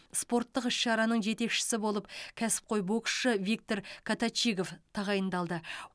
спорттық іс шараның жетекшісі болып кәсіпқой боксшы виктор коточигов тағайындалды